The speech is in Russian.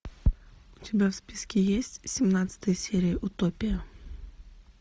у тебя в списке есть семнадцатая серия утопия